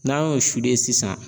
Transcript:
N'an y'o sisan